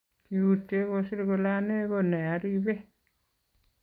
Kiutye koser kole ane ko nearibe